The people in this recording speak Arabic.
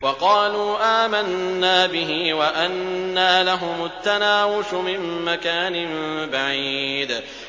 وَقَالُوا آمَنَّا بِهِ وَأَنَّىٰ لَهُمُ التَّنَاوُشُ مِن مَّكَانٍ بَعِيدٍ